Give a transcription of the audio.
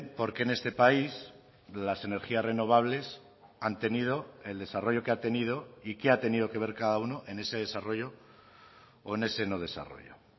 por qué en este país las energías renovables han tenido el desarrollo que ha tenido y qué ha tenido que ver cada uno en ese desarrollo o en ese no desarrollo